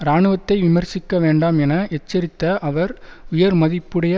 இராணுவத்தை விமர்சிக்க வேண்டாம் என எச்சரித்த அவர் உயர் மதிப்புடைய